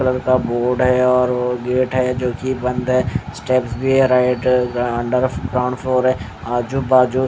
board है और gate है जो कि बंद है स्टेप भी है राइट अंडर ग्राउंड फ्लोर है आजू बाजू--